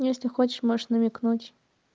если хочешь можешь намекнуть